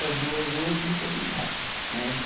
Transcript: Das duas, uma eu tive que optar, né?